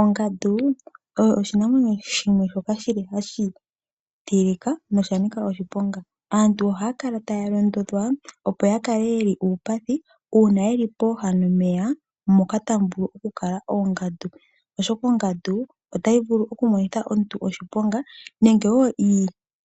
Ongandu oyo oshinamwenyo shimwe shoka shi li hashi tilika nosha nika oshiponga. Aantu ohaya kala taya londodhwa, opo ya kale ye li uupathi uuna ye li pooha nomeya moka tamu vulu okukala oongandu, oshoka ongandu otayi vulu okumonitha omuntu oshiponga nenge wo